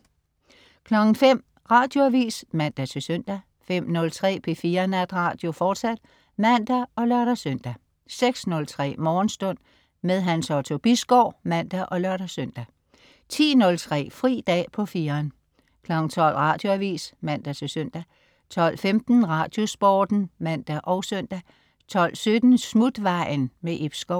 05.00 Radioavis (man-søn) 05.03 P4 Natradio, fortsat (man og lør-søn) 06.03 Morgenstund. Hans Otto Bisgaard (man og lør-søn) 10.03 Fri dag på 4'eren 12.00 Radioavis (man-søn) 12.15 Radiosporten (man og søn) 12.17 Smutvejen. Ib Schou